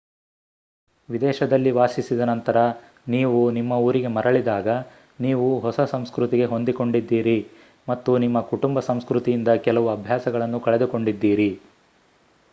ವಿದೇಶದಲ್ಲಿ ವಾಸಿಸಿದ ನಂತರ ನೀವು ನಿಮ್ಮಊರಿಗೆ ಮರಳಿದಾಗ ನೀವು ಹೊಸ ಸಂಸ್ಕೃತಿಗೆ ಹೊಂದಿಕೊಂಡಿದ್ದೀರಿ ಮತ್ತು ನಿಮ್ಮ ಕುಟುಂಬ ಸಂಸ್ಕೃತಿಯಿಂದ ಕೆಲವು ಅಭ್ಯಾಸಗಳನ್ನು ಕಳೆದುಕೊಂಡಿದ್ದೀರಿ